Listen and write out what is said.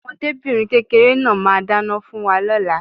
Ọmọdébìnrin kékeré náà máà ń dáná fún wa lóla